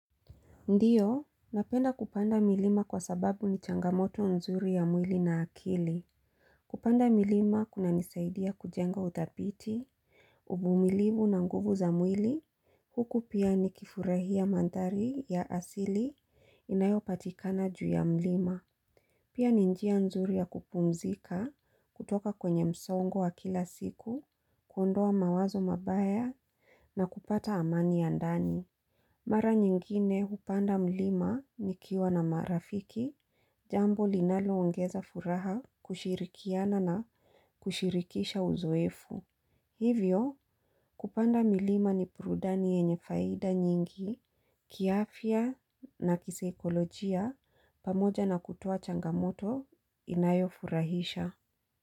Ndiyo, napenda kupanda milima kwa sababu ni changamoto nzuri ya mwili na akili. Kupanda milima kuna nisaidia kujenga utapiti, uvumilivu na nguvu za mwili, huku pia ni kifurahia manthari ya asili inayo patikana juu ya mlima. Pia ni njia nzuri ya kupumzika kutoka kwenye msongo wa kila siku, kuondoa mawazo mabaya na kupata amani ya ndani. Mara nyingine kupanda mlima nikiwa na marafiki, jambo linalo ongeza furaha kushirikiana na kushirikisha uzoefu. Hivyo kupanda mlima ni prudani yenye faida nyingi, kiafia na kiseikolojia pamoja na kutoa changamoto inayo furahisha.